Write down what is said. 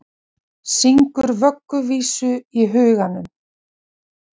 Og alltaf var hún tandurhrein að því er vinkonurnar lýsa henni.